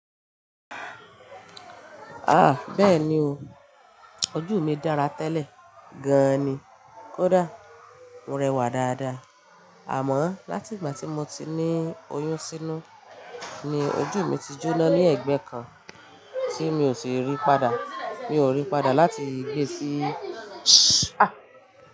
Ah! Bẹ́ẹ̀ni o, ojú mi dára tẹ́lẹ̀ gan ni, kódà mo rẹwà dáadáa. Àmọ́ láti ìgbà tí mo ti ní oyún sínú, ni ojú mi ti jóná ní ẹ̀gbẹ́ kan tí mi ò sì rí padà. Mi ò rí padà láti gbé sí, ṣá.